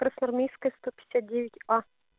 красноармейская сто пятьдесят девять а